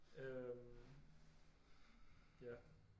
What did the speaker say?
Øh ja